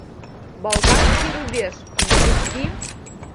балканский рубеж запусти